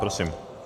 Prosím.